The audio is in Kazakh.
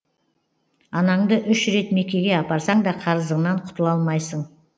анаңды үш рет меккеге апарсаң да қарызыңнан құтыла алмайсың